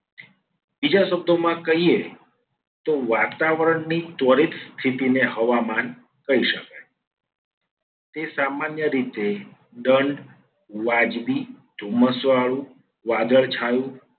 બીજા શબ્દોમાં કહીએ. તો વાતાવરણની ત્વરિત સ્થિતિને હવામાન કહી શકાય. તે સામાન્ય રીતે દંડ વ્યાજબી ધુમ્મસવાળું વાદળછાયુ